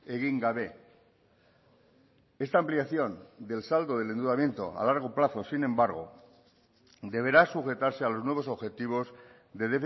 egin gabe esta ampliación del saldo del endeudamiento a largo plazo sin embargo deberá sujetarse a los nuevos objetivos de